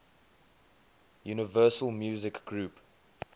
universal music group